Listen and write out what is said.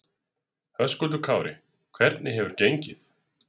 Höskuldur Kári: Hvernig hefur gengið?